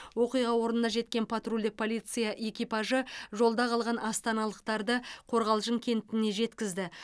оқиға орнына жеткен патрульдік полиция экипажы жолда қалған астаналықтарды қорғалжын кентіне жеткізді